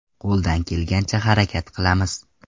Qo‘ldan kelgancha harakat qilamiz.